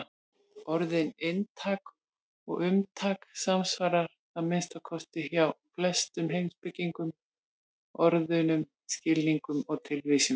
Orðin inntak og umtak samsvara, að minnsta kosti hjá flestum heimspekingum, orðunum skilningur og tilvísun.